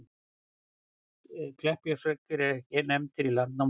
Kleppjárnsreykir eru ekki nefndir í Landnámabók, en að fornu hét bærinn aðeins Reykir.